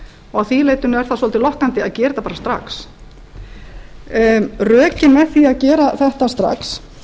að því leyti er það svolítið lokkandi að gera þetta bara strax rökin með því að gera þetta strax